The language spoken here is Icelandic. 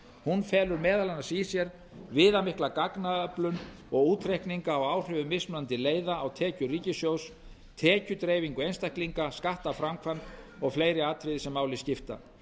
hún felur meðal annars í sér viðamikla gagnaöflun og útreikninga á áhrifum mismunandi leiða á tekjur ríkissjóðs tekjudreifingu einstaklinga skattaframkvæmd og fleiri atriði sem máli skipta